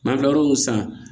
N'an kila l'o san